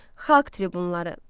Xalq tribunları.